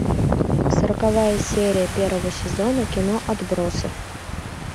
сороковая серия первого сезона кино отбросы